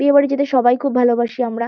বিয়ে বাড়ি যেতে সবাই খুব ভালোবাসি আমরা।